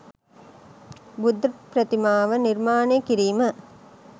බුද්ධ ප්‍රතිමාව නිර්මාණය කිරීම